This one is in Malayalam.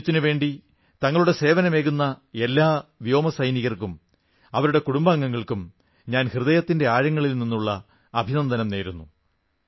രാജ്യത്തിനുവേണ്ടി തങ്ങളുടെ സേവനമേകുന്ന എല്ലാ വായുസൈനികർക്കും അവരുടെ കുടുംബങ്ങൾക്കും ഞാൻ ഹൃദയത്തിന്റെ ആഴങ്ങളിൽ നിന്നുള്ള അഭിനന്ദനം നേരുന്നു